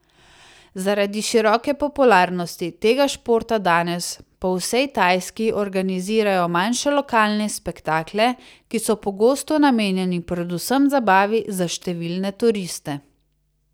Zaradi široke popularnosti tega športa danes po vsej Tajski organizirajo manjše lokalne spektakle, ki so pogosto namenjeni predvsem zabavi za številne turiste.